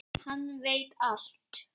Hann veit allt!